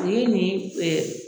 o ye nin ɛ